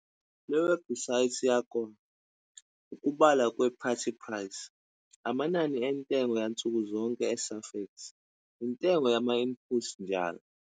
Iwebhusayithi yakwa- Ukubalwa kwe-Parity price, amanani entengo yansukuzonke eSafex, intengo yama-input njall.